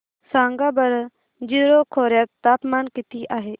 सांगा बरं जीरो खोर्यात तापमान किती आहे